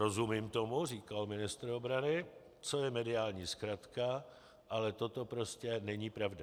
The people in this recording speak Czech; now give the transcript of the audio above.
Rozumím tomu, říkal ministr obrany, co je mediální zkratka, ale toto prostě není pravda.